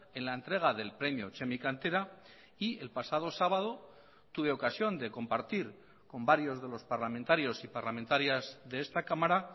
en la entrega del premio txemi cantera y el pasado sábado tuve ocasión de compartir con varios de los parlamentarios y parlamentarias de esta cámara